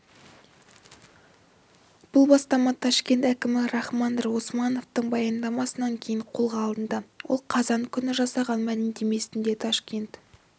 бұл бастама ташкент әкімі рахманбек османовтың баяндамасынан кейін қолға алынды ол қазан күні жасаған мәлімдемесінде ташкент